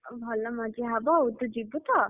ଆଉ ଭଲ ମଜା ହବ ଆଉ ତୁ ଯିବୁ ତ?